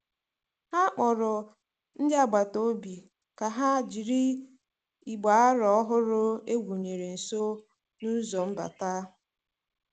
Ha kpọrọ ndị agbata obi ka ha jiri igbe aro ọhụrụ e wụnyere nso n'ụzọ mbata.